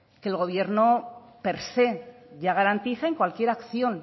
que el gobierno per se ya garantiza en cualquier acción